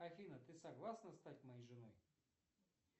афина ты согласна стать моей женой